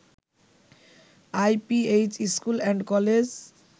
IPH school and college